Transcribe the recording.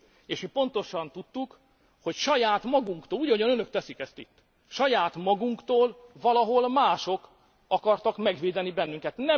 És mi pontosan tudtuk, hogy saját magunktól úgy ahogyan Önök teszik ezt itt valahol mások akartak megvédeni bennünket.